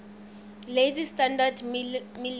lazy standard ml